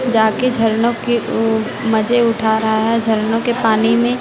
जाके झरनों के अह मजे उठा रहा है झरनों के पानी में--